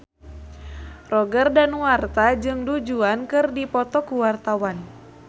Roger Danuarta jeung Du Juan keur dipoto ku wartawan